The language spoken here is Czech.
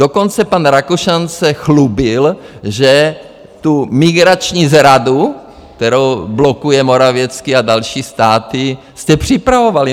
Dokonce pan Rakušan se chlubil, že tu migrační zradu, kterou blokuje Morawiecki a další státy, jste připravovali.